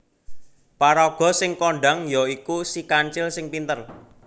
Paraga sing kondhang ya iku Si Kancil sing pinter